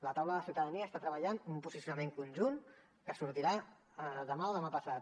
la taula de ciutadania està treballant un posicionament conjunt que sortirà demà o demà passat